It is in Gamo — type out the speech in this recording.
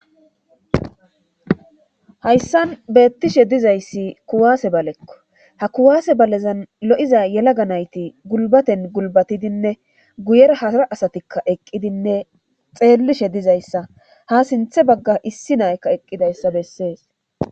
hayssan beettishe dizayssi kuwaase balekko ha kuwaase balezan lo7iza yelaga nayti gulbaten gulbatidinne guyera hasara asatikka eqqidinne xeellishe dizayssa ha sinthe bagga issi naykka eqqidayssa bessees